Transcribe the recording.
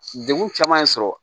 Degun caman ye sɔrɔ